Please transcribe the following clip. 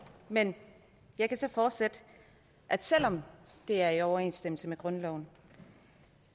men jeg kan så fortsætte at selv om det er i overensstemmelse med grundloven